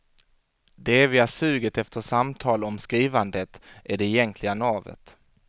Det eviga suget efter samtal om skrivandet är det egentliga navet.